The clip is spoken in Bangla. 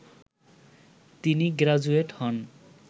তিনি গ্রাজুয়েট হন